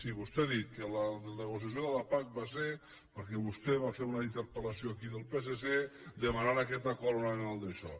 sí vostè ha dit que la negociació de la pac va ser perquè vostè va fer una interpel·lació aquí del psc que demanava aquest acord amb el daixò